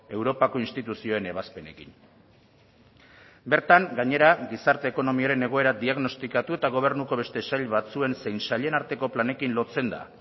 europako instituzioen ebazpenekin bertan gainera gizarte ekonomiaren egoera diagnostikatu eta gobernuko beste sail batzuen zein sailen arteko planekin lotzen da